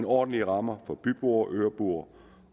ordentlige rammer for byboere øboere